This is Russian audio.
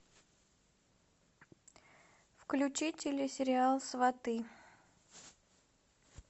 включи телесериал сваты